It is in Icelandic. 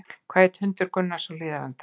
Hvað hét hundur Gunnars á Hlíðarenda?